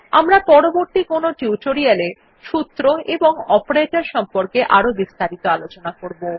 আমরা পরবর্তী কোনো টিউটোরিয়াল এ সূত্র এবং অপারেটর সম্পর্কে আরো বিস্তারিত আলোচনা করবো